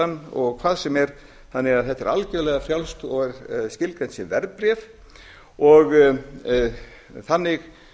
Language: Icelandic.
hann og hvað sem er þannig að þetta er algerlega frjálst og er skilgreint sem verðbréf og þannig